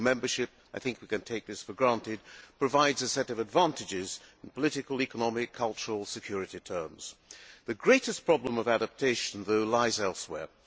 EU membership I think we can take this for granted provides a set of advantages in political, economic, cultural and security terms. The greatest problem of adaptation, though, lies elsewhere.